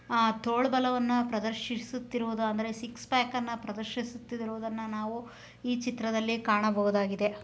ತನ್ನ ಆಹ್ ತೋಳ್ಬಲವನ್ನ ಪ್ರದರ್ಶಿಸುತ್ತಿರುವುದು ಅಂದರೆ ಸಿಕ್ಸ್ ಪ್ಯಾಕ್ ಅನ್ನ ಪ್ರದರ್ಶಿಸುತ್ತಿರುವುದನ್ನ ನಾವು ಈ ಚಿತ್ತ್ರದಲ್ಲಿ ನಾವು ಕಾಣಬಹುದಾಗಿದೆ.